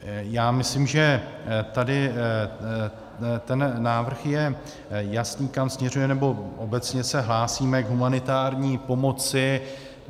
Já myslím, že tady ten návrh je jasný, kam směřuje, nebo obecně se hlásíme k humanitární pomoci.